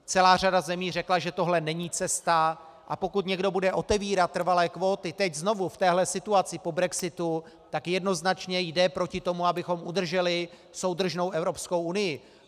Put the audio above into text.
Celá řada zemí řekla, že tohle není cesta, a pokud někdo bude otevírat trvalé kvóty teď znovu v této situaci po brexitu, tak jednoznačně jde proti tomu, abychom udrželi soudržnou Evropskou unii.